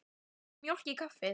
Viltu mjólk í kaffið?